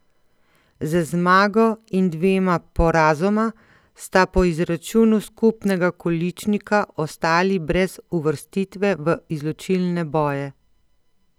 Z zmago in dvema porazoma sta po izračunu skupnega količnika ostali brez uvrstitve v izločilne boje.